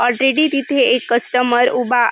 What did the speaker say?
already तिथे एक customer उभा --